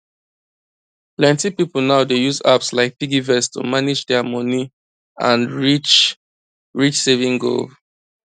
plenty people now dey use apps like piggyvest to manage dia money and reach reach saving goal